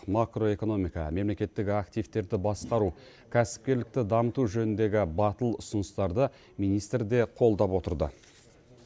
макроэкономика мемлекеттік активтерді басқару кәсіпкерлікті дамыту жөніндегі батыл ұсыныстарды министр де қолдап отырды